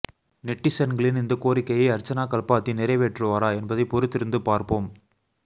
நெட்டிசன்களீன் இந்த கோரிக்கையை அர்ச்சனா கல்பாதி நிறைவேற்றுவாரா என்பதை பொறுத்திருந்து பார்ப்போம்